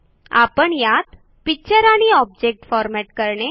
आपण यात पिक्चर आणि ऑब्जेक्ट फॉरमॅट करणे